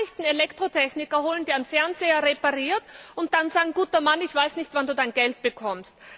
Ich kann nicht einen Elektrotechniker holen, der einen Fernseher repariert, und dann sagen Guter Mann, ich weiß nicht, wann Du Dein Geld bekommst.